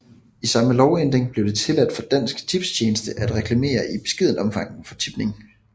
I samme lovændring blev det tilladt for Dansk Tipstjeneste at reklamere i beskedent omfang for tipning